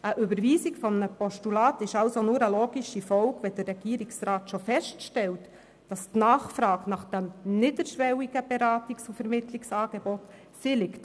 Die Überweisung eines Postulats ist also nur eine logische Folge, wenn der Regierungsrat schon feststellt, dass die Nachfrage nach diesem niederschwelligen Beratungs- und Vermittlungsangebot besteht.